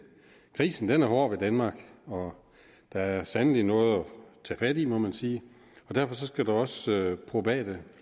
krisen er hård ved danmark og der er sandelig noget at tage fat i må man sige og derfor skal der også probate